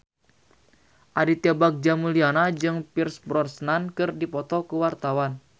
Aditya Bagja Mulyana jeung Pierce Brosnan keur dipoto ku wartawan